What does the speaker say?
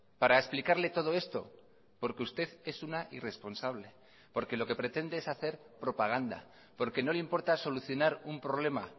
para explicarle todo esto porque usted es una irresponsable porque lo que pretende es hacer propaganda porque no le importa solucionar un problema